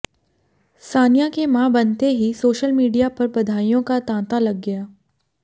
सानिया के मां बनते ही सोशल मीडिया पर बधाइयों का तांता लग गया